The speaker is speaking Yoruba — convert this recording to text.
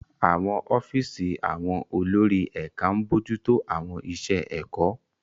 Àwọn ọ́fíìsì àwọn olórí ẹ̀ka ń bójú tó àwọn iṣẹ́ ẹ̀kọ́.